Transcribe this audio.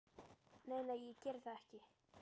Nei, nei, ég geri það ekki.